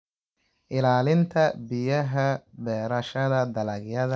Ilaalinta Biyaha Beerashada dalagyada joogtada ah waxay kaa caawin kartaa ilaalinta biyaha.